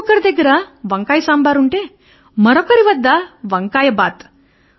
ఒకరి దగ్గర వంకాయ సాంబారు ఉంటె ఇంకొకరి వద్ద వంకాయ బాత్